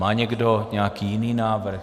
Má někdo nějaký jiný návrh?